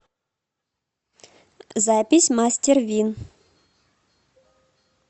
запись мастер вин